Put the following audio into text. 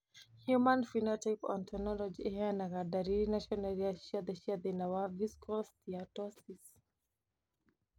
Human Phenotype Ontology ĩheanaga ndariri na cionereria ciothe cia thĩna wa Visceral steatosis.